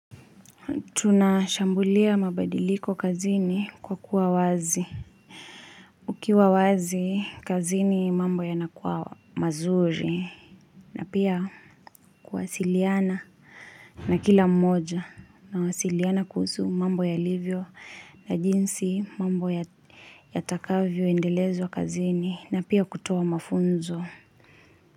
Tunashambulia mabadiliko kazini kwa kuwa wazi Ukiwa wazi kazini mambo yanakuwa mazuri na pia kuwasiliana na kila mmoja na wasiliana kuhusu mambo yalivyo na jinsi mambo yatakavyo endelezwa kazini na pia kutoa mafunzo.